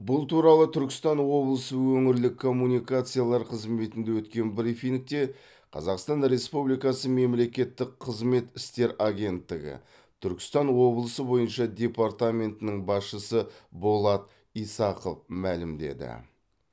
бұл туралы түркістан облысы өңірлік коммуникациялар қызметінде өткен брифингте қазақстан республикасы мемлекеттік қызмет істер агенттігі түркістан облысы бойынша департаментінің басшысы болат исақов мәлімдеді